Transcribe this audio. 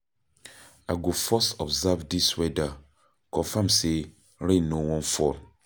I go first observe dis weather, confirm sey rain no wan fall.